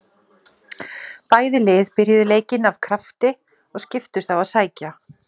Bæði lið byrjuðu leikinn af krafti og skiptust á að sækja.